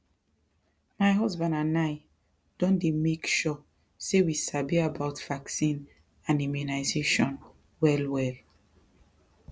my husband and i don dey make sure say we sabi about vaccine and immunization wellwell